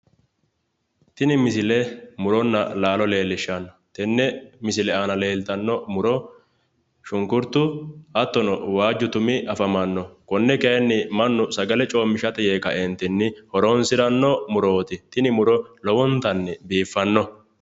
Tini misile muronna laalo leellishanno. Tenne misile aana leeltanno muro shunkurtu, hattono waajju tumi afamanno. Konne kayiinni mannu sagale coommishirate yee kaeentinni horonsiranno murooti. Tini muro lowontanni biiffanno.